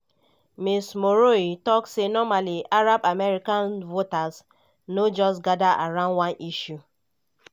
ms meroueh tok say normally arab american voters no just gada around one issue.